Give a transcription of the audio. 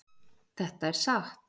Þetta er satt